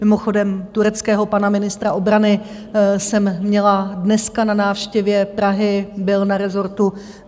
Mimochodem tureckého pana ministra obrany jsem měla dneska na návštěvě Prahy, byl na rezortu.